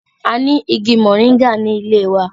A ni igi moringa ni ile wa.